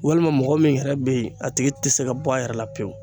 Walima mɔgɔ min yɛrɛ be ye a tigi te se ka bɔ a yɛrɛ la pewu